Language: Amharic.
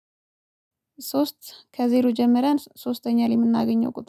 ሶስት ከዜሮ ጀመረን ሶስተኛ ላይ የምናገኘው ቁጥር